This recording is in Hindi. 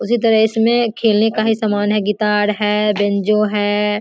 उसी तरह इसमें खेलने का ही समान है गिटार है बेंजो है।